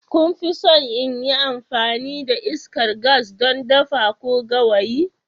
Kun fi son in yi amfani da iskar gas don dafa ko gawayi?